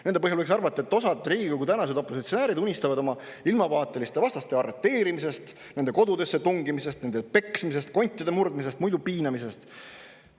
Nende põhjal võiks arvata, et osa Riigikogu tänaseid opositsionääre unistab oma ilmavaateliste vastaste arreteerimisest, nende kodudesse tungimisest, nende peksmisest, kontide murdmisest, muidu piinamisest.